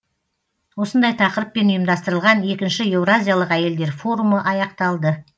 осындай тақырыппен ұйымдастырылған екінші еуразиялық әйелдер форумы аяқталды